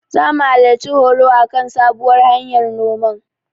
Zamu halarci horo a kan sabuwar hanyar noman.